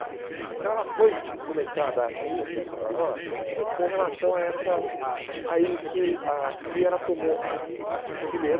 Então ela foi começar a dar essa importância para nós com relação a essa a isso, ah e ela tomou, ah nós tínhamos que ler,